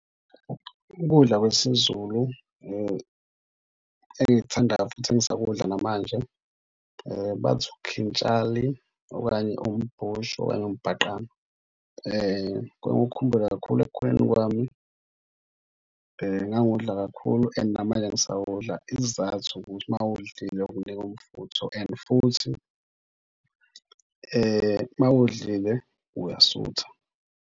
Ukudla kwesiZulu engikuthandayo futhi engisakukudla namanje bathi ukhintshali okanye umbusho okanye umbhaqanga. Kengiwukhumbule kakhulu ekukhuleni kwami ngangiwudla kakhulu and namanje ngisawudla isizathu ukuthi uma uwudlile ukunika umfutho and futhi mawudlile, uyasutha.